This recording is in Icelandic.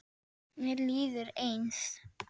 Mér líður eins.